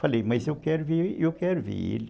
Falei, mas eu quero ver, eu quero ver ele.